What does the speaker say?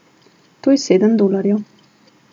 To je sedem dolarjev.